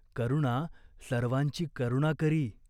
करुणा सर्वांची करुणा करी.